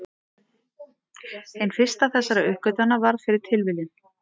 Hin fyrsta þessara uppgötvana varð fyrir tilviljun.